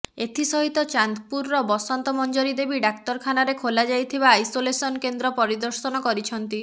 ଏଥି ସହିତ ଚାନ୍ଦପୁରର ବସନ୍ତ ମଂଜରି ଦେବୀ ଡାକ୍ତରଖାନାରେ ଖୋଲାଯାଇଥିବା ଆଇସୋଲେସନ କେନ୍ଦ୍ର ପରିଦର୍ଶନ କରିଛନ୍ତି